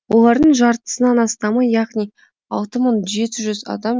олардың жартысынан астамы яғни алты мың жеті жүз адам